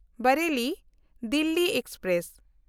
ᱵᱟᱨᱮᱞᱤ–ᱫᱤᱞᱞᱤ express